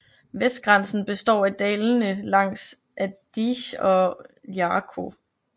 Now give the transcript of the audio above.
Vestgrænsen består af dalene langs Adige og Iarco